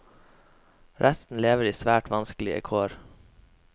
Resten lever i svært vanskelige kår.